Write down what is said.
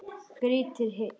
Grýttir í hel.